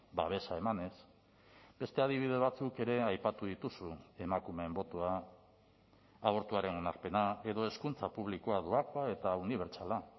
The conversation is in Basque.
babesa emanez beste adibide batzuk ere aipatu dituzu emakumeen botoa abortuaren onarpena edo hezkuntza publikoa doakoa eta unibertsala